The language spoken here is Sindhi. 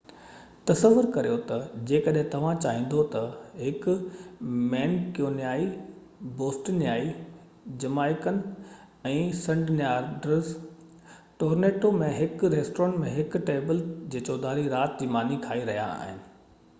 تصور ڪريو ته جيڪڏهن توهان چاهيندو ته هڪ Mancunian Bostonian Jamaican ۽ Sydneysider Toronto ۾ هڪ ريسٽورينٽ ۾ هڪ ٽيبل جي چوڌاري رات جي ماني کائي رهيا آهن